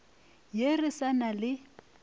ye re sa na le